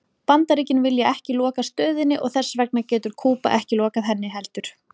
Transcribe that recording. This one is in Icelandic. Bandaríkin vilja ekki loka stöðinni og þess vegna getur Kúba ekki lokað henni heldur.